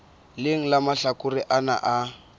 leng la mahlakore ana a